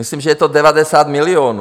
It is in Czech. Myslím, že to je 90 milionů.